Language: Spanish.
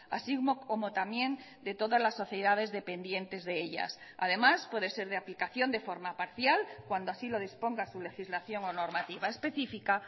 así como también de todas las sociedades dependientes de ellas además puede ser de aplicación de forma parcial cuando así lo disponga su legislación o normativa específica